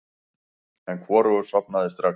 En hvorugur sofnaði strax.